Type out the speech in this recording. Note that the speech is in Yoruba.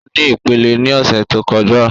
O ni ipele ni ọsẹ to kọja